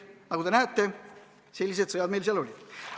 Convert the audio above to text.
Nagu te näete, sellised sõjad meil seal olid.